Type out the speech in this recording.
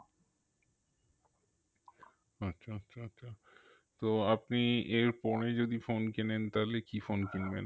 আচ্ছা আচ্ছা আচ্ছা তো আপনি এর পরে যদি phone কেনেন তাহলে কি phone কিনবেন?